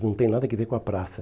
Não tem nada que ver com a praça.